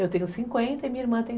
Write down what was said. Eu tenho cinquenta e minha irmã tem